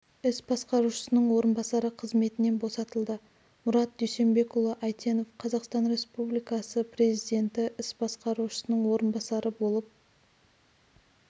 іс басқарушысының орынбасары қызметінен босатылды мұрат дүйсенбекұлы әйтенов қазақстан республикасы президенті іс басқарушысының орынбасары болып